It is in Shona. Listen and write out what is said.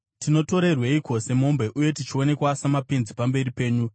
Tinobatirweiko semombe uye tichionekwa samapenzi pamberi penyu?